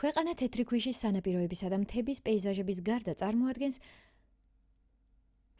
ქვეყანა თეთრი ქვიშის სანაპიროებისა და მთების პეიზაჟების გარდა წარმოადგენს